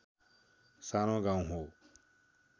सानो गाउँ हो